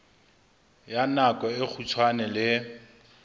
ya nako e kgutshwane le